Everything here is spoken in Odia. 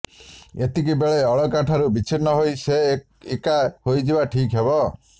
ଏତିକିବେଳେ ଅଳକା ଠାରୁ ବିଚ୍ଛିନ୍ନ ହୋଇ ସେ ଏକା ହୋଇଯିବା ଠିକ୍ ହେବ